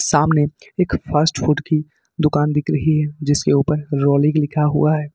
सामने एक fast food की दुकान दिख रही है जिसके ऊपर रॉलिक लिखा हुआ हैं।